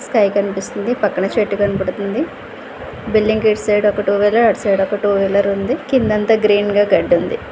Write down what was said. Sky కనిపిస్తుంది పక్కన చెట్టు కనబడుతుంద బిల్డింగ్ కి ఇటు సైడ్ ఒక టూ వీలర్ అటు సైడ్ ఒక టూ వీలర్ ఉంది కింద అంతా గ్రీన్ గా గడ్డి ఉంది.